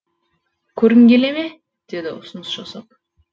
көргің келе ме деді ұсыныс жасап